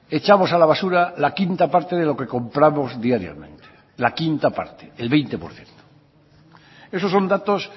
echamos a la basura la quinta parte de lo que compramos diariamente la quinta parte el veinte por ciento esos son datos